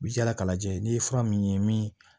I bi yaala k'a lajɛ n'i ye fura min ye min